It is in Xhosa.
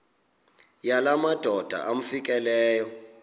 yala madoda amfikeleyo